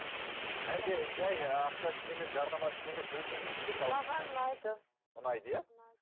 әлде жай ақша үшін емес жарнама үшін емес өзіңіз үшін де саласыз ба маған ұнайды ұнайды иә ұнайды